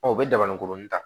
u bɛ dabani kurunin ta